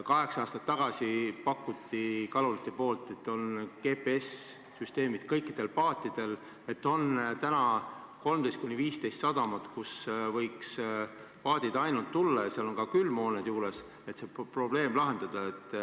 Kaheksa aastat tagasi pakkusid kalurid, et on GPS-süsteemid kõikidel paatidel ja on 13–15 sadamat, kuhu võiksid paadid tulla, ja seal on ka külmhooned juures, et see probleem lahendada.